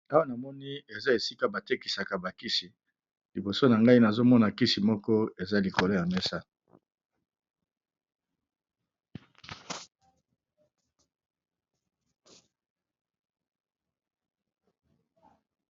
Awa namoni eza esika batekisaka bakisi liboso na ngai nazomona kisi moko eza likolo ya mesa.